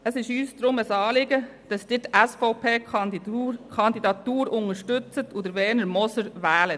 Es ist uns daher ein Anliegen, dass Sie die SVP-Kandidatur unterstützen und Werner Moser wählen.